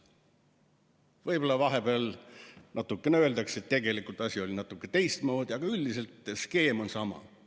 Võib-olla vahepeal midagi öeldakse, näiteks seda, et tegelikult oli asi natuke teistmoodi, aga üldiselt on skeem sama.